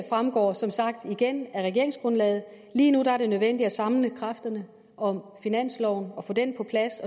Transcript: fremgår som sagt igen af regeringsgrundlaget lige nu er det nødvendigt at samle kræfterne om finansloven og få den på plads